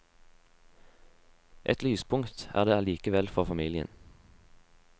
Et lyspunkt er det likevel for familien.